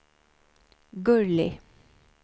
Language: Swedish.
Gurli